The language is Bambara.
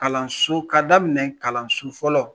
Kalanso, ka daminɛ kalanso fɔlɔ.